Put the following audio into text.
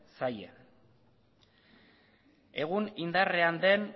zaie egun indarrean den